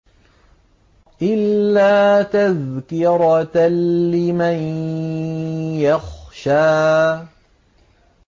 إِلَّا تَذْكِرَةً لِّمَن يَخْشَىٰ